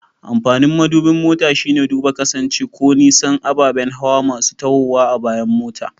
Amfanin madubin mota shine duba kusanci ko nisan ababen hawa masu tahowa a bayan mota.